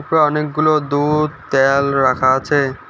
উপরে অনেকগুলো দুধ তেল রাখা আছে।